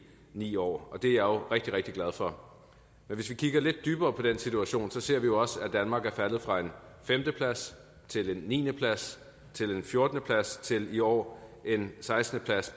ni år det er jeg jo rigtig rigtig glad for men hvis vi kigger lidt dybere på den situation ser vi jo også at danmark er faldet fra en femte plads til en niende plads til en fjortende plads og til i år en sekstende plads